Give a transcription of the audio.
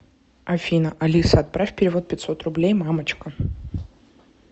афина алиса отправь перевод пятьсот рублей мамочка